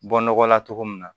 Bɔ nɔgɔ la cogo min na